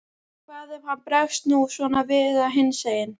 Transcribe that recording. Hvað ef hann bregst nú svona við eða hinsegin?